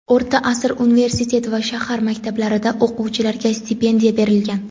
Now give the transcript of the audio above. O‘rta asr universitet va shahar maktablarida o‘quvchilarga stipendiya berilgan.